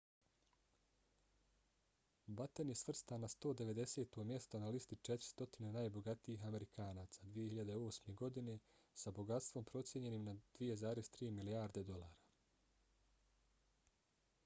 batten je svrstan na 190. mjesto na listi 400 najbogatijih amerikanaca 2008. godine sa bogatstvom procijenjenim na 2,3 milijarde dolara